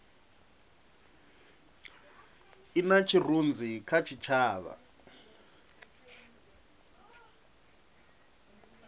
i na tshirunzi kha tshitshavha